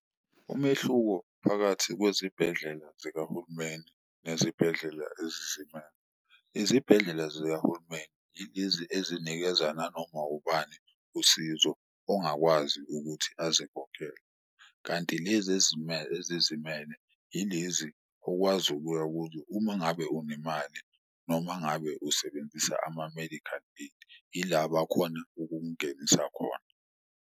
Umehluko phakathi kwezibhedlela zikahulumeni nezibhedlela ezizimele, izibhedlela zikahulumeni ilezi ezinikeza nanoma ubani usizo ongakwazi ukuthi azikhokhele. Kanti lezi ezizimele ilezi okwazi ukuya kuzo uma ngabe unemali noma ngabe usebenzisa ama-medical aid, ila bakhona ukukungenisa khona.